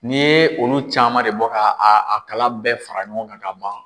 Ni ye olu caman de bɔ ka a kalaw bɛɛ fara ɲɔgɔn kan ka ban